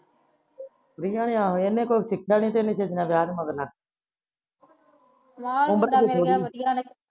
ਪਰੀਆ ਨੇ ਆਹੋ ਇਹਨੇ ਕੁਛ ਸਿੱਖਿਆ ਨਹੀਂ ਤੇ ਇਹ ਛੇਤੀ ਵਿਆਹ ਦੇ ਮਗਰ ਲੱਗ ਗਈ ਉਮਰ ਤਾ ਹਜੇ ਥੋੜੀ